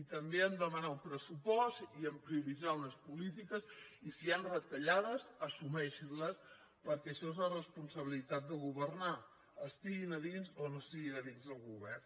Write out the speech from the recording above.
i també a demanar un pressupost i a prioritzar unes polítiques i si hi han retallades assumeixin les perquè això és la responsabilitat de governar estiguin a dins o no estiguin a dins del govern